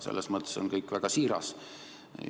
Selles mõttes on kõik väga siiras.